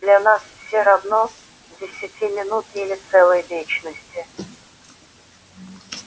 для нас все равно десяти минут или целой вечности